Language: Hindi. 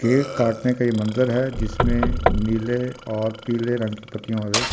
केक काटने का ये मंज़र है जिसमें नीले और पीले रंग की पत्तियाँ ।